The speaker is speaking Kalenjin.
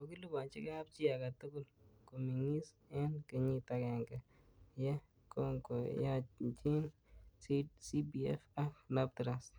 Kokilabanchi kapchi age togul komi'ngis eng kenyit agenge ye kongoyanchin CPF ak LapTrust.